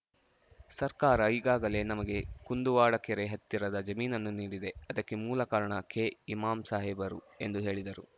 ಸರ್ಕಾರ ಈಗಾಗಲೇ ನಮಗೆ ಕುಂದುವಾಡ ಕೆರೆ ಹತ್ತಿರದ ಜಮೀನನ್ನು ನೀಡಿದೆ ಅದಕ್ಕೆ ಮೂಲ ಕಾರಣ ಕೆಇಮಾಂ ಸಾಹೇಬರು ಎಂದು ಹೇಳಿದರು